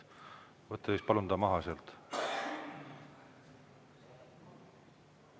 Võtke siis palun see maha sealt.